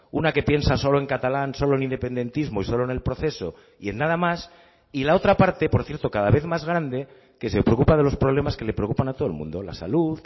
una que piensa solo en catalán solo en independentismo y solo en el proceso y en nada más y la otra parte por cierto cada vez más grande que se preocupa de los problemas que le preocupan a todo el mundo la salud